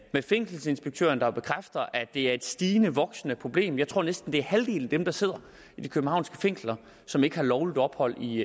med fængselsinspektøren der bekræfter at det er et stigende og voksende problem jeg tror næsten halvdelen af dem der sidder i de københavnske fængsler som ikke har lovligt ophold i